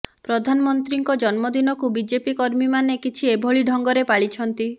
ପ୍ରଧନମନ୍ତ୍ରୀଙ୍କ ଜନ୍ମଦିନକୁ ବିଜେପି କର୍ମୀମାନେ କିଛି ଏଭଳି ଢଙ୍ଗରେ ପାଳିଛନ୍ତି